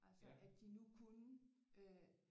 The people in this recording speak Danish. Altså at de nu kunne øh